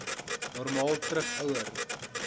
normaal terug ouer